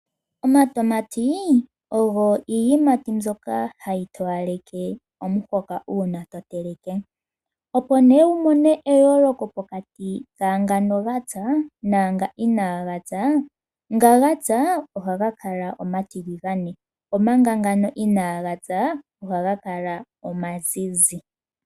Omatama ogo iiyimati mbyoka hayi towaleke omuhoka uuna toteleke. Opo wuyoolole omatama nga gapya naanga inaga pya, nga gapya ohaga kala omatiligane, omanga nga inaaga pya ohaga kala omazizi.